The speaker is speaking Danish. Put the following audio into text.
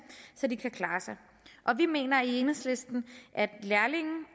så de kan klare sig vi mener i enhedslisten at lærlinge